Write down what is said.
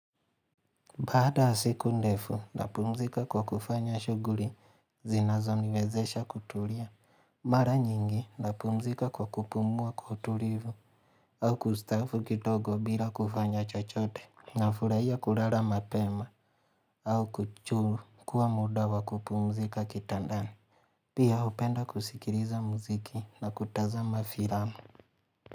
Baada ya siku ndefu nitapumzika kwa kufanya shughuli zinazoniwezesha kutulia. Mara nyingi napumzika kwa kupumua kutulivu au kustaafu kidogo bila kufanya chochote. Na furahia kulala mapema au kuchukua muda wa kupumzika kitandani. Pia hupenda kusikiliza muziki na kutazama filamu.